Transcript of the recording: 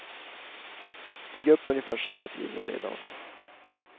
Stig upp ungefär samma tid varje dag.